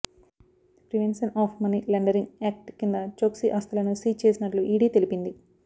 ప్రివెన్సెన్ of money laundering act కింద చోక్సీ ఆస్థులను seize చేసినట్లు ఈడీ తెలిపింది